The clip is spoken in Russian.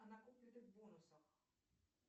о накопленных бонусах